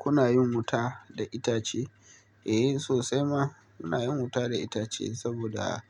Kuna yin wuta da itace? Eh sosai ma muna yin wuta da itace saboda